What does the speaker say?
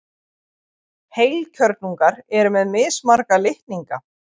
Heilkjörnungar eru með mismarga litninga.